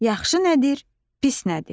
Yaxşı nədir, pis nədir?